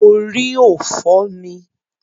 Orí ò fọ́ mi.